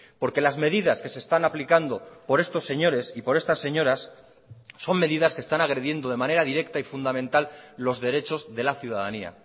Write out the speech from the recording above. porque las medidas que se están aplicando por estos señores y por estas señoras son medidas que están agrediendo de manera directa y fundamental los derechos de la ciudadanía